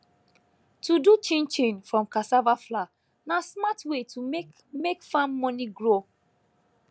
to do chinchin from cassava flour na smart way to make make farm money grow